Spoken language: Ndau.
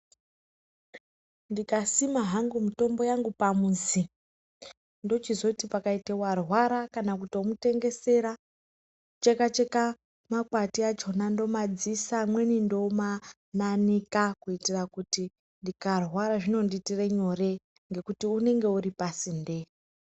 Ndikasima hangu mutombo yangu pamuzi, ndochizoti pakaite warwara kana kutomutengesera. Kuchekacheka makwati achona ndomadziisa, amweni ndomananika kuitira kuti ndikarwara zvinondiitire nyore, ngekuti unenge uri pasinde.